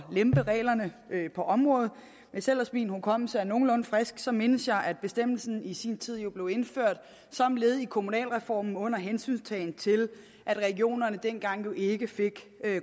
lempe reglerne på området hvis ellers min hukommelse er nogenlunde frisk så mindes jeg at bestemmelsen i sin tid blev indført som led i kommunalreformen under hensyntagen til at regionerne jo dengang ikke fik